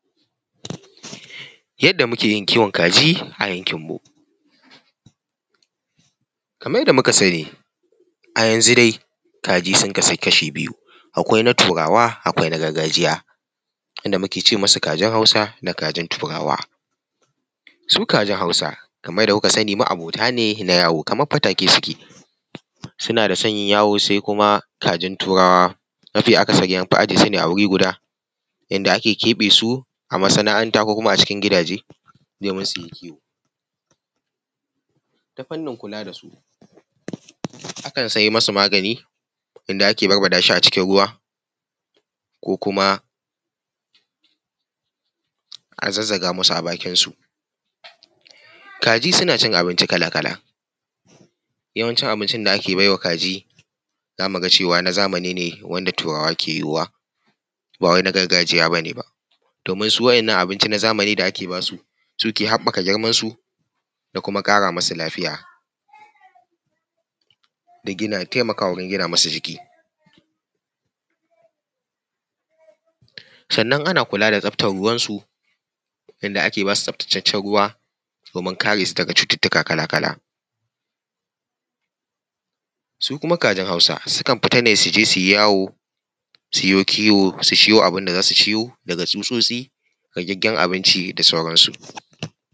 Yadda muke yin kiwon kaji a yankin mu. Kamar yadda muka sani, a yanzu dai kaji sun kasu kasha biyu; akwai na turawa, akwai na gargajiya; inda muke ce masu kajin hausa da kajin turawa. Su kajin Hausa kamar yadda kuka sani ma’abota ne na yawo kamar fatake suke, suna da son yin yawo sai kuma kajin turawa mafi akasari an fi ajiye su ne a wuri guda yanda ake keɓe su a masana’anta ko kuma a cikin gidaje domin su yi kiwo. Ta fannin kula da su akan siya masu magani inda ake barbaɗa shi a cikin ruwa, ko kuma a zazzaga masu a bakin su. Kaji suna cin abinci kala-kala yawancin abincin da ake baiwa kaji za mu ga cewa na zamani ne wanda turawa ke yowa ba wai na gargajiya bane ba. Domin su wa’innan abinci na zamani da ake basu su, su ke haɓaka girman su da kuma ƙara masu lafiya da gina ya taimakawa wajen gina masu jiki. Sannan ana kula ta tsabtar ruwan su inda ake basu tsabtataccen ruwa domin kare su daga cututtuka kala-kala. Su kuma kajin Hausa sukan fita ne su yi yawo su yo kiwo su ciwo abin da za su ciwo daga tsutsotsi raggen abinci da sauran su.